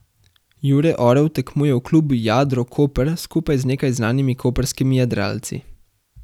Jure Orel tekmuje v klubu Jadro Koper skupaj z nekaj znanimi koprskimi jadralci.